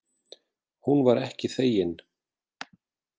Hún var ekki þegin.